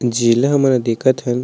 जेला हमन हा देखत हन--